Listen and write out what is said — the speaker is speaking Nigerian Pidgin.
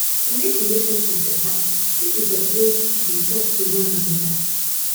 to mek relationship beta pipo supposed dey talk to one anoda